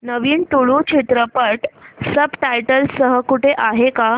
नवीन तुळू चित्रपट subtitles सह कुठे आहे का